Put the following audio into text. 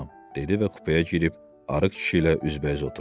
Dedi və kupəyə girib arıq kişi ilə üzbəüz oturdu.